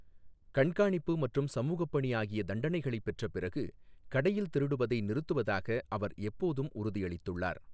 கண்காணிப்பு மற்றும் சமூகப் பணி ஆகிய தண்டனைகளைப் பெற்ற பிறகு கடையில் திருடுவதை நிறுத்துவதாக அவர் எப்போதும் உறுதியளித்துள்ளார்.